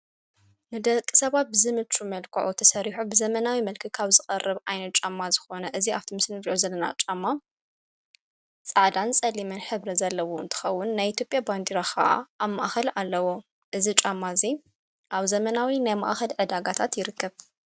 ንደቂ ሰባ ብዝምቹ መልክዑ ተሠሪሑ ብዘመናዊ መልክዕ ካብ ዝቐርብ ዓይነት ጫማ ዝኾነ እዝ ኣብቲምስሊንሪኦ ዘለና ጫማ ፃዕዳን፣ ጸሊምን ሕብሪ ዘለዎ እንትኸውን ናይ ኢቲዮጺያ ባንዲራ ኸዓ ኣብ ማእኸል ኣለዎ። እዚ ጫማ እዙይ ኣብ ዘመናዊ ናይ መእኸል ዕዳጋታት ይርክብ።